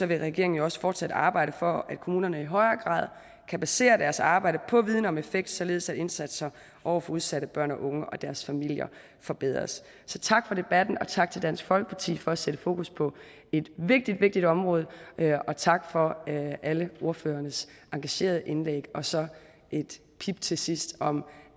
vil regeringen også fortsat arbejde for at kommunerne i højere grad kan basere deres arbejde på viden om effekt således at indsatser over for udsatte børn og unge og deres familier forbedres så tak for debatten og tak til dansk folkeparti for at sætte fokus på et vigtigt vigtigt område og tak for alle ordførernes engagerede indlæg og så et pip til sidst om